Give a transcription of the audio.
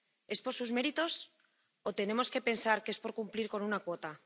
¿Es por sus méritos o tenemos que pensar que es por cumplir con una cuota?